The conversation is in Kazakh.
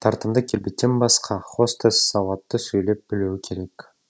тартымды келбеттен басқа хостес сауатты сөйлеп білуі керек